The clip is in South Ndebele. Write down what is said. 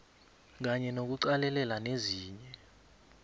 kanye nokuqalelela nezinye